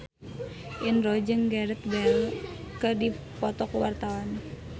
Indro jeung Gareth Bale keur dipoto ku wartawan